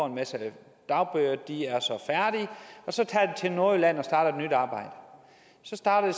en masse dagbøder og de så er til nordjylland og starter et nyt arbejde så starter det